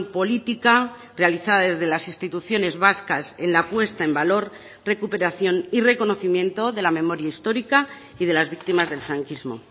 política realizada desde las instituciones vascas en la puesta en valor recuperación y reconocimiento de la memoria histórica y de las víctimas del franquismo